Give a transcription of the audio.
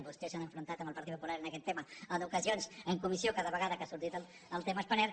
vostès s’han enfrontat amb el partit popular en aquest tema en ocasions en comissió cada vegada que ha sortit el tema spanair